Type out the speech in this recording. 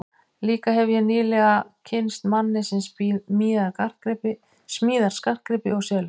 Líka hefi ég nýlega kynnst manni sem smíðar skartgripi og selur.